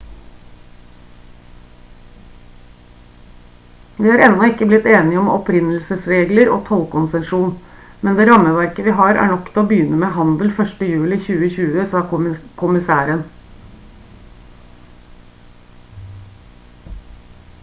«vi har ennå ikke blitt enige om opprinnelsesregler og tollkonsesjon men det rammeverket vi har er nok til å begynne med handel 1. juli 2020» sa kommissæren